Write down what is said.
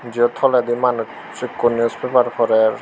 jo toledi manuj ikko newspaper porer.